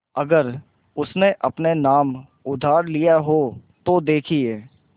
अगर उसने अपने नाम उधार लिखा हो तो देखिए